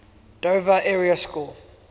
dover area school